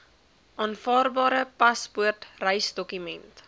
aanvaarbare paspoort reisdokument